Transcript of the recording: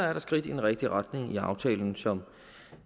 er der skridt i den rigtige retning i aftalen som